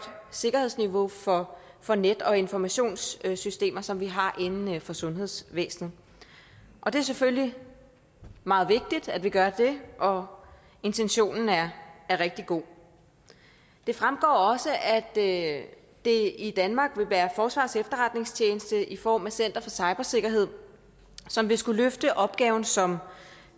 sikkerhedsniveau for for net og informationssystemer som vi har inden for sundhedsvæsenet det er selvfølgelig meget vigtigt at vi gør det og intentionen er rigtig god det fremgår også at det i danmark vil være forsvarets efterretningstjeneste i form af center for cybersikkerhed som vil skulle løfte opgaven som